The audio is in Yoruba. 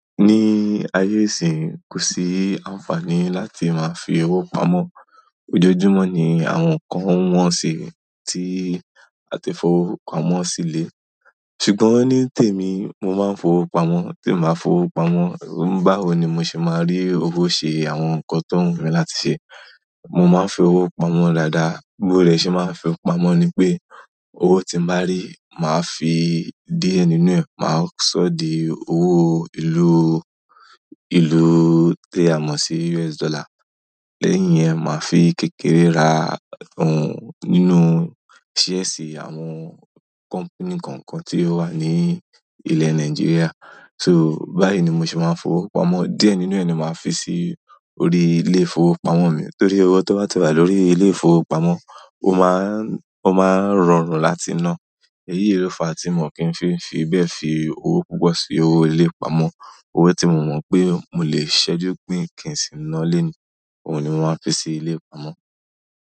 Ní ayé ìsìnyí, kò sí àǹfààní láti máa fi owó pamọ́. Ojoojúmọ́ ni àwọn nǹkan n wọ́n si tí a ti fowó pamọ́ sílẹ̀. Ṣùgbọ́n ní tèmi, mo máa ń fowó pamọ́, tí mo máa fowó pamọ́, báwo ni mo ṣe máa rí owó ṣe àwọn nǹkan tó wù mí láti ṣe. Mo máa ń fi owó pamọ́ dáadáa, bi mo dẹ̀ ṣe máa ń fi pamọ́ ni pé owó tí mo bá rí, màá fi díẹ̀ nínú ẹ̀, màá ṣọ̀de owó ìlú, ìlú tí a mọ̀ sí US dollar. Lẹ́yìn yẹn, màá fi kékeré ra nǹkan nínú díẹ̀ ṣí àwọn company kọ̀ọ̀kan tí ó wà ní ilẹ̀ Nàìjíríà. So, báyìí ni mo ṣe máa ń fowó pamọ́. Díẹ̀ nínú ẹ̀ ni màá fi sí orí ilé ìfowópamọ́ mi torí owó tó bá ti wà lórí ilé ìfowópamọ́, ó máa ń, ó máa ń rọrùn láti ná. Ẹyìí ló fa tí mò kí ń fi bẹ́ẹ̀ fi owó púpọ̀ sí ilé ìfowópamọ́. Owó tí mo mọ̀ pé mo lè ṣẹ́jú pín kin sí i ná lónìí, òun ni màá fi sí ilé ìfowópamọ́.